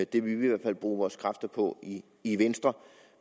det vil vi i hvert fald bruge vores kræfter på i venstre